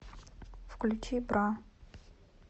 включи бра